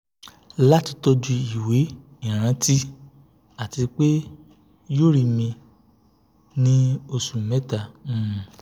lati toju iwe iranti ati pe yoo ri mi ni osu meta